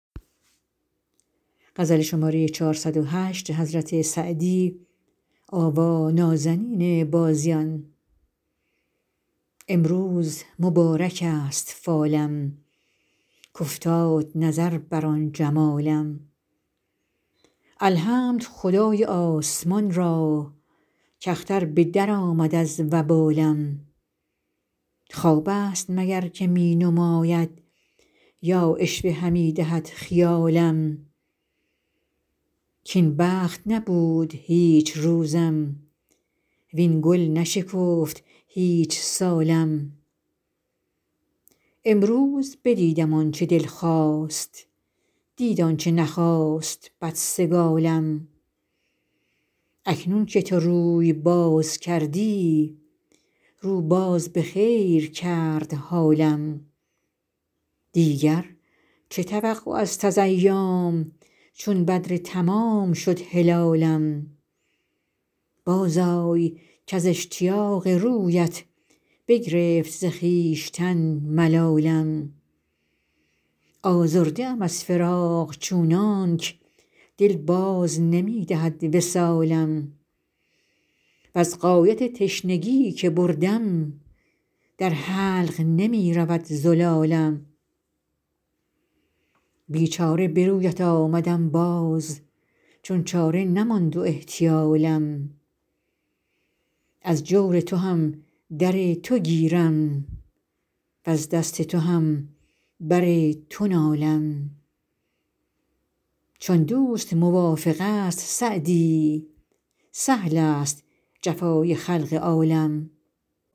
امروز مبارک است فالم کافتاد نظر بر آن جمالم الحمد خدای آسمان را کاختر به درآمد از وبالم خواب است مگر که می نماید یا عشوه همی دهد خیالم کاین بخت نبود هیچ روزم وین گل نشکفت هیچ سالم امروز بدیدم آن چه دل خواست دید آن چه نخواست بدسگالم اکنون که تو روی باز کردی رو باز به خیر کرد حالم دیگر چه توقع است از ایام چون بدر تمام شد هلالم بازآی کز اشتیاق رویت بگرفت ز خویشتن ملالم آزرده ام از فراق چونانک دل باز نمی دهد وصالم وز غایت تشنگی که بردم در حلق نمی رود زلالم بیچاره به رویت آمدم باز چون چاره نماند و احتیالم از جور تو هم در تو گیرم وز دست تو هم بر تو نالم چون دوست موافق است سعدی سهل است جفای خلق عالم